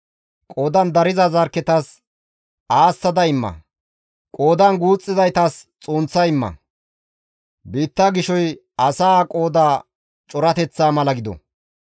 Qoodan dariza zarkketas aassa imma; qoodan guuxxizaytas xunththa imma; biitta gishoy asaa qooda corateththaa mala gido.